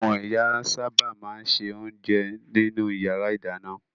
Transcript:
Àwọn ìyá sábà máa ń se oúnjẹ nínú ìyàrá-ìdáná.